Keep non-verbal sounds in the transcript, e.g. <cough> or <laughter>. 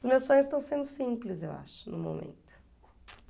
Os meus sonhos estão sendo simples, eu acho, no momento. <unintelligible>